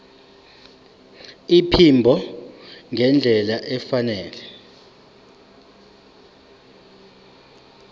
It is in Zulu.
iphimbo ngendlela efanele